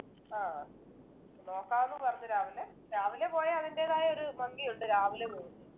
ആഹ് നോക്കാം ന്നു പറഞ്ഞു രാവിലെ രാവിലെ പോയാ അതിൻ്റെതായ ഒരു ഭംഗിയുണ്ട് രാവിലെ പോകുന്നതിനു